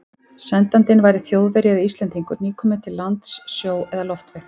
Sendandinn væri Þjóðverji eða Íslendingur, nýkominn til landsins sjó- eða loftveg.